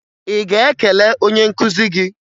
Ị ga-ekele onye nkụzi gị?